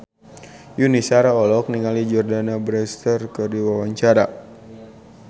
Yuni Shara olohok ningali Jordana Brewster keur diwawancara